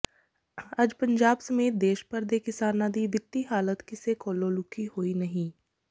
ਅੱਜ ਪੰਜਾਬ ਸਮੇਤ ਦੇਸ਼ ਭਰ ਦੇ ਕਿਸਾਨਾਂ ਦੀ ਵਿੱਤੀ ਹਾਲਤ ਕਿਸੇ ਕੋਲੋਂ ਲੁਕੀ ਹੋਈ ਨਹੀ